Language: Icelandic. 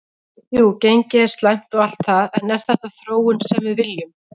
Jú gengið er slæmt og allt það en er þetta þróunin sem við viljum?